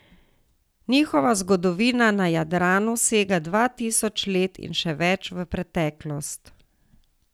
Njihova zgodovina na Jadranu sega dva tisoč let in še več v preteklost.